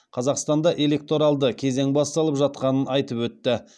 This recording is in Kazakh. қазақстанда электоралды кезең басталып жатқанын айтып өтті